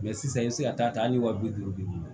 Mɛ sisan i bɛ se ka taa hali wa bi duuru